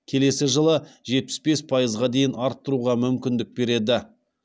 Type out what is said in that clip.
келесі жылы жетпіс бес пайызға дейін арттыруға мүмкіндік береді